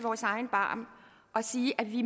egen barm og sige at vi